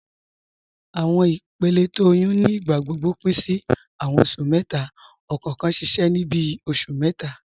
Awọn ìpèlẹ̀ tó ọyún ní ìgbàgbọ́gbọ̀ pin sí awọn oṣù mẹ́ta, ọkọọ̀kan ṣiṣẹ ni bíi oṣù mẹ́ta.